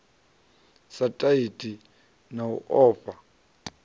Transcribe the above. sa tati na u ofha